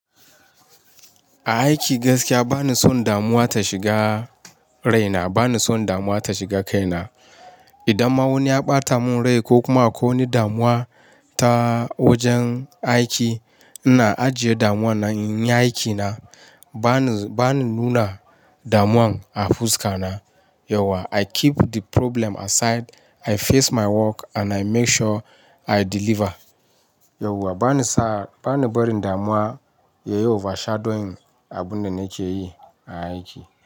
A aiki gaskiya bani son damuwa ta shiga raina, bani son damuwa ta shiga kaina. Idan ma wani ya ɓata mun rai ko kuma akwai wani damuwa ta wajen aiki, ina ajiye damuwan nan in yi aikina. Bani, bani nuna damuwan a fuska na. Yauwa I keep the problem aside, I face my work and I make sure I deliver. Yauwa bani sa, bani barin damuwa yayi overshadowing abun da nake yi a aiki.